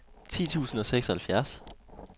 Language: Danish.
ti tusind og seksoghalvfjerds